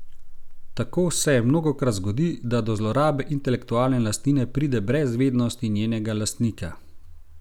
Tako se mnogokrat zgodi, da do zlorabe intelektualne lastnine pride brez vednosti njenega lastnika.